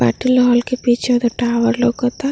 Patil hall के पीछे उधर टावर लौकता।